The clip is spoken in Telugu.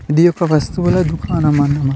ఇది ఒక వస్తువుల దుకాణం అన్నమా --